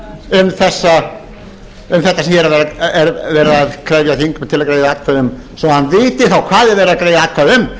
um þetta sem hér er verið að krefja þingmenn til að greiða atkvæði um svo hann viti þá um